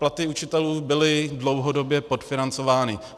Platy učitelů byly dlouhodobě podfinancovány.